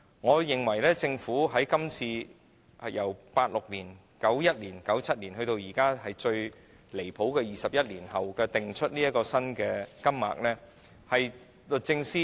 我認為，政府在1986年、1991年、1997年，及至最離譜的21年後的今天，才訂出新金額，是律政司......